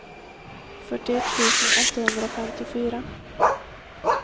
fyrtioett tusen åttahundrafemtiofyra